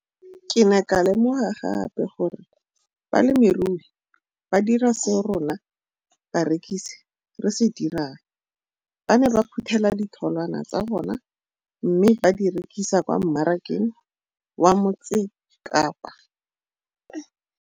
Ke ne ka lemoga gape gore balemirui ba dira seo rona barekisi re se dirang, ba ne ba phuthela ditholwana tsa bona mme ba di rekisa kwa marakeng wa Motsekapa.